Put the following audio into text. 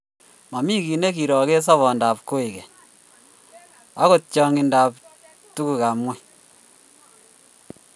Magiroge ki sobondap koikeny , agot chang'indap tugukab ng'ony.